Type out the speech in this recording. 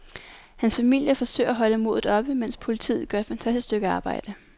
Hans familie forsøger at holde modet oppe, mens politiet gør et fantastisk stykke arbejde.